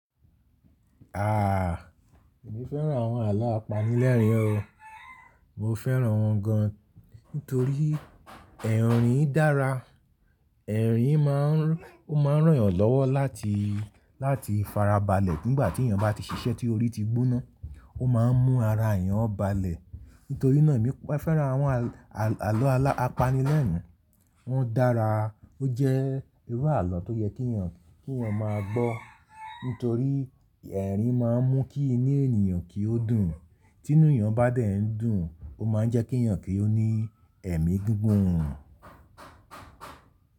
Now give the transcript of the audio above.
Aah, èmi fẹ́ràn àwọn àlọ́ apanilẹ́rìn o. Mo fẹ́ràn wọ́n gan nítorí ẹ̀rín dára. Ẹ̀rín máa ń rọ̀yàn lọ́wọ́ láti, láti fara balẹ̀ nígbà tí ènìyàn bá ti ṣiṣẹ́ tí orí ti gbóná. Ó máa ń mú ara ènìyàn balẹ̀. Nítorí náà èmi fẹ́ràn àwọn àlọ́ apanilẹ́rìn. Wọ́n dára, ó jẹ́ irú àlọ́ tó yẹ kí ènìyàn, kí ènìyàn máa gbọ́. Nítorí ẹ̀rín máa ń mú kí inú ènìyàn kí ó dùn. Tí inú ènìyàn bá dẹ̀ ń dùn, ó máa ń jẹ́ kí ènìyàn kí ó ní ẹ̀mí gungun.